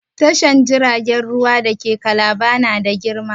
Tashar jiragen ruwa da ke Kalaba na da girma.